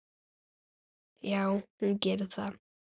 Já, hún gerir það.